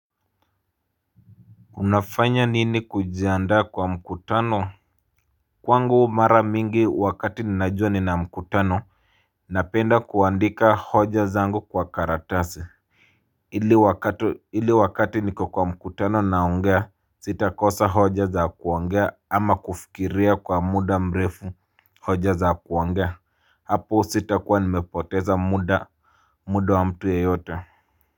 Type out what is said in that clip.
Unafanya nini kujiandaa kwa mkutano? Kwangu mara mingi wakati ninajua ninamkutano, napenda kuandika hoja zangu kwa karatasi, ili wakati niko kwa mkutano naongea, sitakosa hoja za kuongea ama kufikiria kwa muda mrefu. Hoja za kuongea, hapo sitakua nimepoteza muda. Muda wa mtu yeyote.